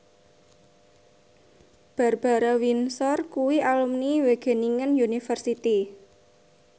Barbara Windsor kuwi alumni Wageningen University